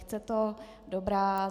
Chce to. Dobrá.